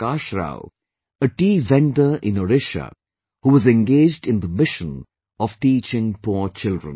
Prakash Rao, a tea vendor in Odisha who was engaged in the mission of teaching poor children